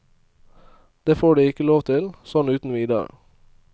Det får de ikke lov til, sånn uten videre.